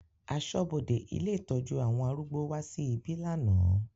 Aṣọ́bodè ilé ìtọ́jú àwọn arúgbó wá sí ibí lánàá.